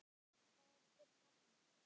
Hvaðan kemur nafnið?